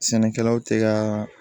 Sɛnɛkɛlaw tɛ ka